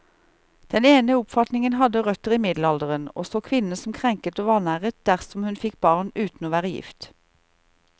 Den ene oppfatningen hadde røtter i middelalderen, og så kvinnen som krenket og vanæret dersom hun fikk barn uten å være gift.